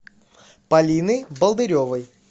полины болдыревой